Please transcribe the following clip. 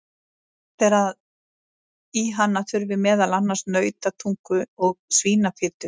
Sagt er að í hana þurfi meðal annars nautatungu og svínafitu.